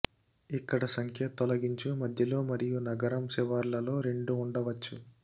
ఇక్కడ సంఖ్య తొలగించు మధ్యలో మరియు నగరం శివార్లలో రెండు ఉండవచ్చు